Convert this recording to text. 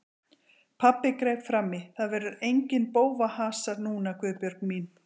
Pabbi greip fram í: Það verður enginn bófahasar núna Guðbjörg mín.